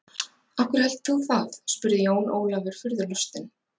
Af hverju heldur þú það spurði Jón Ólafur furðulostinn.